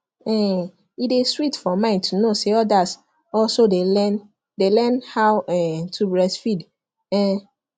um e dey sweet for mind to know say others also dey learn dey learn how um to breastfeed um